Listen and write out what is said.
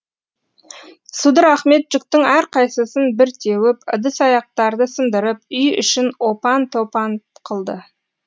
судыр ахмет жүктің әрқайсысын бір теуіп ыдыс аяқтарды сындырып үй ішін опан топан қылды